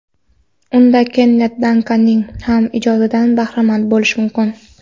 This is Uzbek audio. Unda Kennet Dankanning ham ijodidan bahramand bo‘lish mumkin.